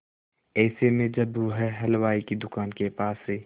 ऐसे में जब वह हलवाई की दुकान के पास से